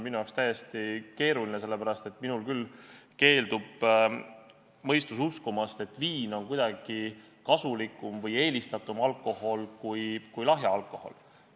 Seda on tõesti keeruline mõista, sest minul küll keeldub mõistus uskumast, et viin on kuidagi kasulikum või eelistatum alkohol kui lahja alkohol.